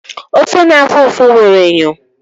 Ofe na-afụ ụfụ nwere enyo.